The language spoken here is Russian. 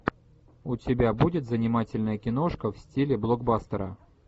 у тебя будет занимательная киношка в стиле блокбастера